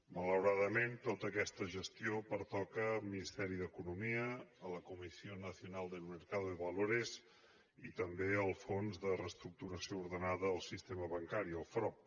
malauradament tota aquesta gestió pertoca al ministeri d’economia a la comisión nacional del mercado de valores i també al fons de reestructuració ordenada del sistema bancari el frob